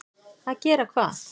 Að gera hvað?